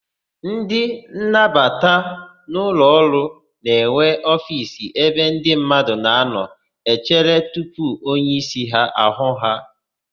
Ndị nnabata n'ụlọọrụ na-enwe ofiisi ebe ndị mmadụ na-anọ echere tupu onyeísí hụ ha.